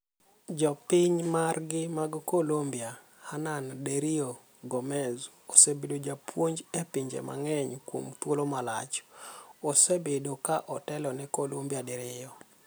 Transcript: Jopiny margi mag Colombia, Hernan Dario Gomez, osebedo japuonj e pinje mang'eny kuom thuolo malach, osebedo ka otelo ne Colombia diriyo.